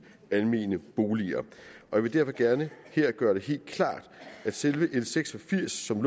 almene boliger jeg vil derfor gerne her gøre det helt klart at selve l seks og firs som